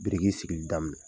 Biriki sigili daminɛ